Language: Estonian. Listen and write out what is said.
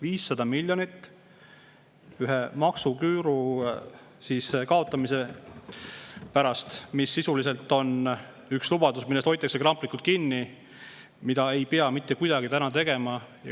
500 miljonit maksuküüru kaotamise pärast, mis sisuliselt on üks lubadus, millest hoitakse kramplikult kinni, aga mida ei pea mitte kuidagi täna tegema.